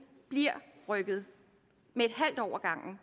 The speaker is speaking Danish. bliver rykket med